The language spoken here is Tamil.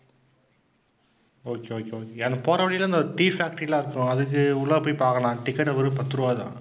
okay, okay, okay போற வழில இந்த tea factory எல்லாம் இருக்கும் அதுக்கு உள்ளார போய் பாக்கலாம் ticket வெறும் பத்து ரூபாய் தான்.